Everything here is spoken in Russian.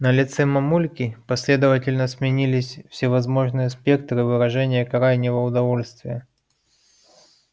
на лице мамульки последовательно сменились всевозможные спектры выражения крайнего удовольствия